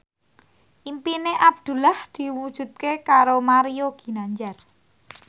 impine Abdullah diwujudke karo Mario Ginanjar